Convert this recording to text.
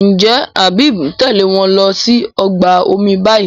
njé Habib ń Tèlé wón ló sì ọgbà omi bayí?